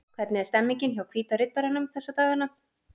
Hvernig er stemningin hjá Hvíta Riddaranum þessa dagana?